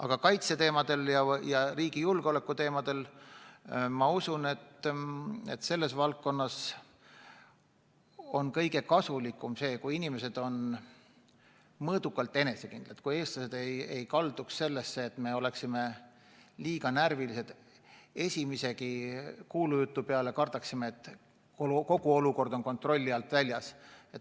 Aga kaitse- ja riigi julgeoleku valdkonna puhul on kõige kasulikum see, kui inimesed oleks mõõdukalt enesekindlad, kui me ei oleks liiga närvilised, nii et esimese kuulujutu peale kardaksime, et kogu olukord on kontrolli alt väljas.